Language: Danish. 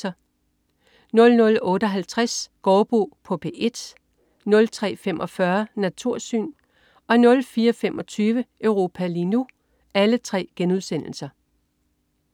00.58 Gaardbo på P1* 03.45 Natursyn* 04.25 Europa lige nu*